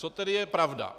Co tedy je pravda?